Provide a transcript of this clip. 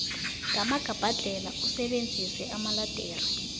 ngamagabhadlhela usebenzise amaledere